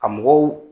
Ka mɔgɔw